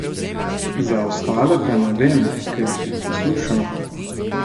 Za ostale pa ne vem, ker jih ne poslušam.